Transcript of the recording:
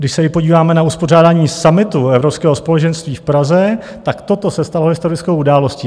Když se podíváme na uspořádání summitu Evropského společenství v Praze, tak toto se stalo historickou událostí.